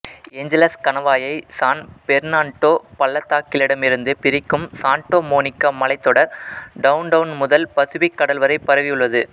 Angeles கணவாயை San Fernando பள்ளத்தாக்கிடமிருந்து பிரிக்கும் சான்டா மோனிகா மலைத்தொடர் டவுன்டவுன் முதல் பசிபிக் கடல் வரைப் பரவியுள்ளது